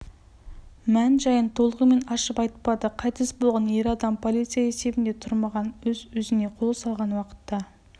мән-жайын толығымен ашып айтпады қайтыс болған ер адам полиция есебінде тұрмаған өз-өзіне қол салған уақытта